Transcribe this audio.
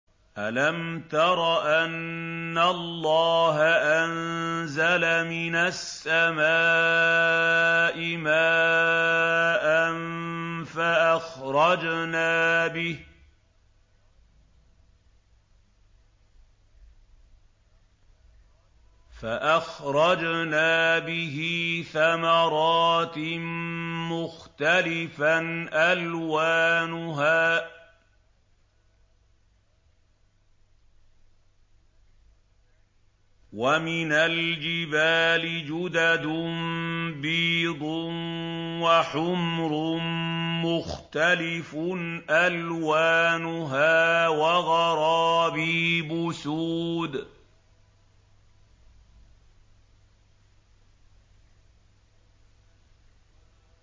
أَلَمْ تَرَ أَنَّ اللَّهَ أَنزَلَ مِنَ السَّمَاءِ مَاءً فَأَخْرَجْنَا بِهِ ثَمَرَاتٍ مُّخْتَلِفًا أَلْوَانُهَا ۚ وَمِنَ الْجِبَالِ جُدَدٌ بِيضٌ وَحُمْرٌ مُّخْتَلِفٌ أَلْوَانُهَا وَغَرَابِيبُ سُودٌ